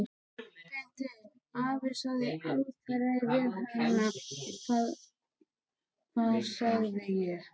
Beinteinn afi sagði aldrei við hana: Hvað sagði ég?